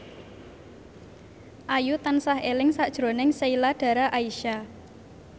Ayu tansah eling sakjroning Sheila Dara Aisha